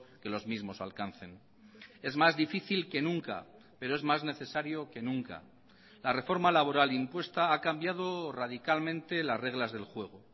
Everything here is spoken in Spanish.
que los mismos alcancen es más difícil que nunca pero es más necesario que nunca la reforma laboral impuesta ha cambiado radicalmente las reglas del juego